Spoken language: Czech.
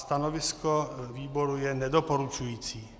Stanovisko výboru je nedoporučující.